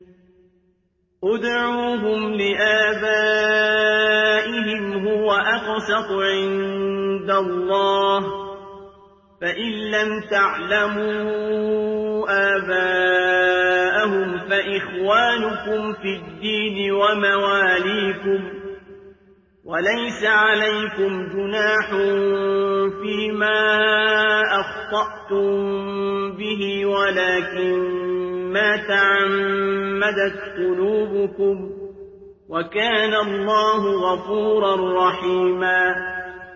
ادْعُوهُمْ لِآبَائِهِمْ هُوَ أَقْسَطُ عِندَ اللَّهِ ۚ فَإِن لَّمْ تَعْلَمُوا آبَاءَهُمْ فَإِخْوَانُكُمْ فِي الدِّينِ وَمَوَالِيكُمْ ۚ وَلَيْسَ عَلَيْكُمْ جُنَاحٌ فِيمَا أَخْطَأْتُم بِهِ وَلَٰكِن مَّا تَعَمَّدَتْ قُلُوبُكُمْ ۚ وَكَانَ اللَّهُ غَفُورًا رَّحِيمًا